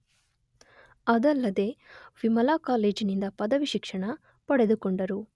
ಅದಲ್ಲದೇ ವಿಮಲಾ ಕಾಲೇಜಿನಿಂದ ಪದವಿ ಶಿಕ್ಷಣ ಪಡೆದುಕೊಂಡರು.